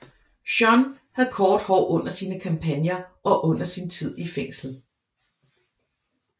Jeanne havde kort hår under sine kampagner og under sin tid i fængsel